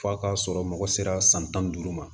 F'a ka sɔrɔ mɔgɔ sera san tan ni duuru ma